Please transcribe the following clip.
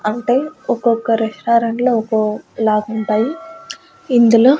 అంటే ఒక్కొక్క రెస్టారెంట్లో ఒకో లాగుంటాయి ఇందులో--